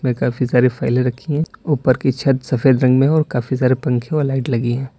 व काफी सारी फाइलें रखी हैं। ऊपर की छत सफेद रंग में है और काफी सारे पंखे और लाइट लगी हैं।